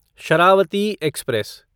Sharavati express